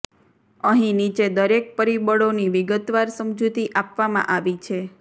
અહી નીચે દરેક પરિબળોની વિગતવાર સમજૂતી આપવામાં આવી છે